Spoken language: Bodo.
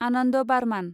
आनन्द बार्मान